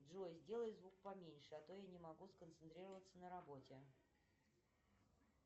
джой сделай звук поменьше а то я не могу сконцентрироваться на работе